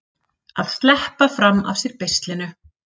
Að sleppa fram af sér beislinu